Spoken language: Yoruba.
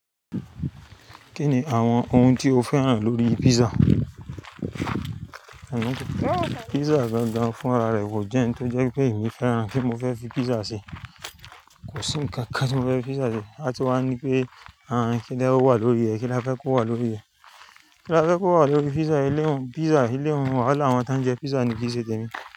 Kí ni àwọn ohun tí o fẹ́ ràn lórí pizza? Pizza gan-gan fún ara rẹ kò jẹ́ n tó jẹ́ pé èmi fẹ́ ràn kí n fẹ́ fi pizza ṣe. Kò sí ǹkan kan tí mo fẹ́ fi pizza ṣe. A sì máa ń ní pé, àán kídá wà lórí rẹ̀, kí la fẹ́ kó wà lórí rẹ̀. Kí la fẹ́ kó wà lórí pizza yìí? Eléhun, pizza eléhun. Wàhálà àwọn tán jẹ pizza ni kì í ṣe tèmi.